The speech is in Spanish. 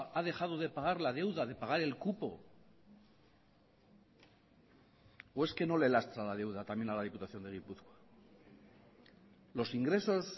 ha dejado de pagar la deuda de pagar el cupo o es que no le lastra la deuda también a la diputación de gipuzkoa los ingresos